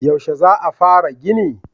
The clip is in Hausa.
Yaushe za a fara gini?